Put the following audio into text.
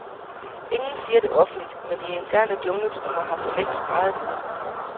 Ingen siger det offentligt, men de interne jungletrommer har forlængst skreget det ud.